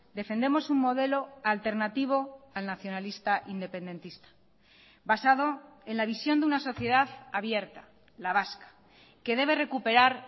defendemos un modelo alternativo al nacionalista independentista basado en la visión de una sociedad abierta la vasca que debe recuperar